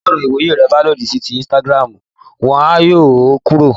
Tí ọ̀rọ̀ ìwòye rẹ bá lòdì sí òfin Instagram, wọ́n á yọ ọ́ kúrò